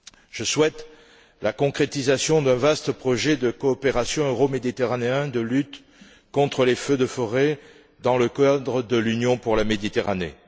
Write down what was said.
Je souhaite la concrétisation d'un vaste projet de coopération euroméditerranéen de lutte contre les feux de forêt dans le cadre de l'Union pour la Méditerranée.